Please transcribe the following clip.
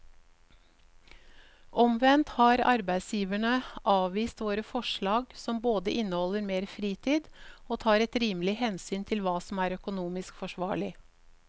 Omvendt har arbeidsgiverne avvist våre forslag som både inneholder mer fritid og tar et rimelig hensyn til hva som er økonomisk forsvarlig.